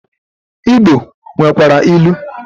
Igbo nwekwara ilu.